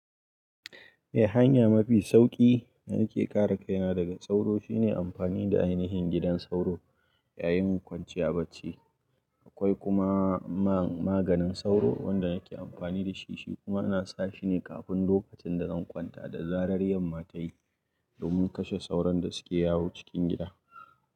Eh, hanya mafi sauƙi da nake kare kaina daga sauro shine amfani da ainihin gidan sauro yayin kwanciya bacci. Akwai kuma ma maganin sauro wanda ake amfani da shi, shi kuma a na sa shi ne kafin lokacin da zan kwanta da zarar yamma ta yi domin kashe sauron da suke yawo cikin gida.